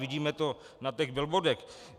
Vidíme to na těch billboardech.